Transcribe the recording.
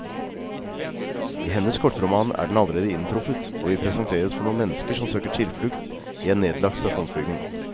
I hennes kortroman er den allerede inntruffet, og vi presenteres for noen mennesker som søker tilflukt i en nedlagt stasjonsbygning.